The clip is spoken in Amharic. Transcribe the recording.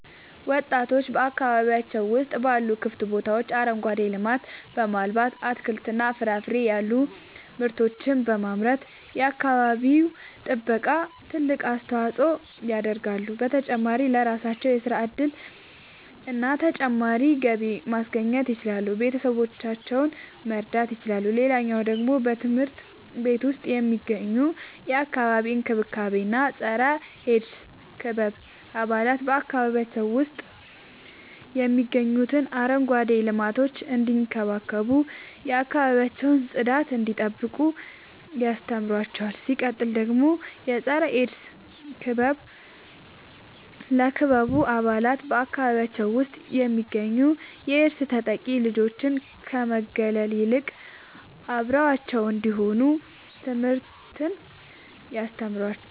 ወጣቶች በአካባቢያቸው ውስጥ ባሉ ክፍት ቦታዎች አረንጓዴ ልማትን በማልማት አትክልትና ፍራፍሬ ያሉ ምርቶችን በማምረት የአካባቢው ጥበቃ ትልቅ አስተዋጽኦ ያደርጋሉ። በተጨማሪም ለራሳቸው የሥራ እድልና ተጨማሪ ገቢ ማስገኘት ይችላሉ ቤተሰቦቻቸውን መርዳት ይችላሉ። ሌላኛው ደግሞ በትምህርት ቤት ውስጥ የሚገኙ የአካባቢ እንክብካቤ እና የፀረ -ኤድስ ክበብ አባላት በአካባቢያቸው ውስጥ የሚገኙትን አረንጓዴ ልማቶች እንዲንከባከቡ የአካባቢያቸውን ጽዳት እንዲጠብቁ ያስተምሯቸዋል። ሲቀጥል ደግሞ የፀረ-ኤድስ ክበብ ለክበቡ አባላት በአካባቢያቸው ውስጥ የሚገኙ የኤድስ ተጠቂ ልጆችን ከመግለል ይልቅ አብረዋቸው እንዲሆኑ ትምህርትን ያስተምራቸዋል።